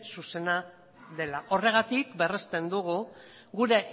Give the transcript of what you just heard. zuzena dela horregatik berresten dugu gure